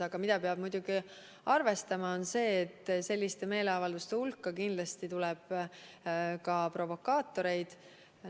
Aga muidugi peab arvestama, et sellistele meeleavaldustele tuleb rahva hulka kindlasti ka provokaatoreid.